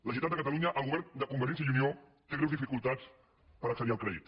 la generalitat de catalunya el govern de convergència i unió té greus dificultats per accedir al crèdit